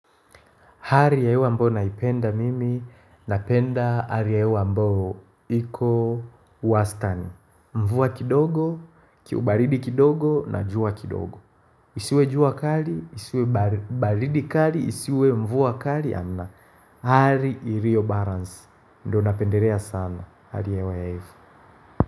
Hali ya hewa ambao naipenda mimi napenda hali ya hewa ambao iko uwasitani. Mvua kidogo, kiubaridi kidogo na jua kidogo. Isiwe jua kali, isiwe baridi kali, isiwe mvua kali, ana. Hali ilio balance. Ndo napendelea sana. Hali ya hewa ya hivi.